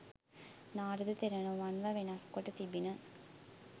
නාරද තෙරණුවන්ව වෙනස් කොට තිබිණ